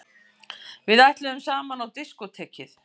Við ætluðum saman á diskótekið!